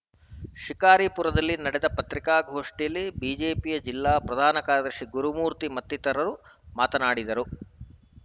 ಶಿಕಾರಿಪುರದಲ್ಲಿ ನಡೆದ ಪತ್ರಿಕಾಗೋಷ್ಠಿಯಲ್ಲಿ ಬಿಜೆಪಿ ಜಿಲ್ಲಾ ಪ್ರಧಾನ ಕಾರ್ಯದರ್ಶಿ ಗುರುಮೂರ್ತಿ ಮತ್ತಿತರರು ಮಾತನಾಡಿದರು